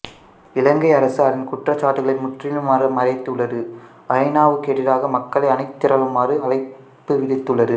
இலங்கை அரசு அதன் குற்றச்சாட்டுக்களை முற்றிலும் மறுத்துள்ளது ஐ நா வுக்கு எதிராக மக்களை அணிதிரளுமாறு அழைப்பு விடுத்துள்ளது